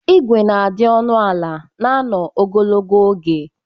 Ịgwe na-adị ọnụ ala na anọ ogologo oge.